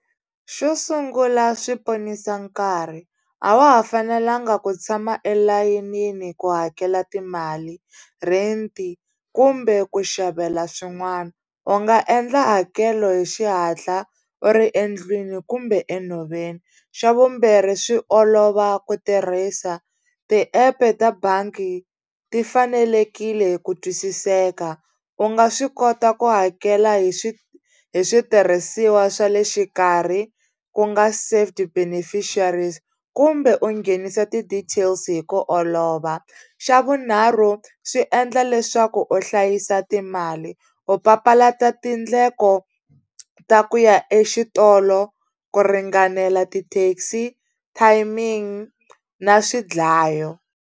Xo sungula swi ponisa nkarhi a wa ha fanelanga ku tshama elayinini ku hakela timali rent kumbe ku xavela swin'wana u nga endla hakelo hi xihatla u ri endlwini kumbe enhoveni xa vumbirhi swi olova ku tirhisa tiepe ta bangi ti fanelekile ku twisiseka u nga swi kota ku hakela hi hi switirhisiwa swa le xikarhi ku nga safety beneficiaries kumbe u nghenisa ti-details hi ku olova xa vunharhu swi endla leswaku u hlayisa timali ku papalata tindleko ta ku ya exitolo ku ringanela ti-taxi timing na swidlayo.